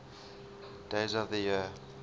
days of the year